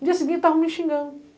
No dia seguinte, estavam me xingando.